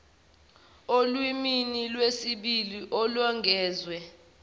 olimini lwesibili olwengeziwe